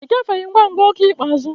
Ị gafeghị ngwa ngwa oge ikpeazụ.